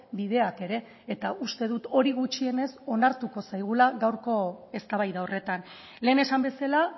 bideak ere eta uste dut hori gutxienez onartuko zaigula gaurko eztabaida horretan lehen esan bezala